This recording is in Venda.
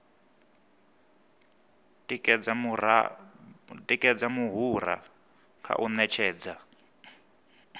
tikedza muhura kha u ṅetshedza